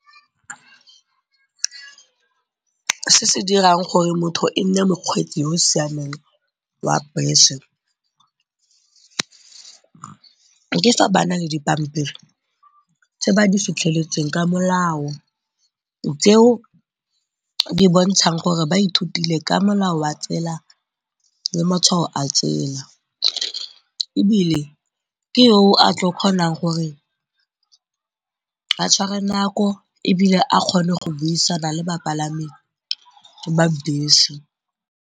Se se dirang gore motho e nne mokgweetsi yo o siameng wa bese ke fa ba na le dipampiri tse ba di fitlheletseng ka molao tseo di bontshang gore ba ithutile ka molao wa tsela le matshwao a tsela. Ebile ke yo o a tlo kgonang gore a tshware nako ebile a kgone go buisana le bapalami ba bese.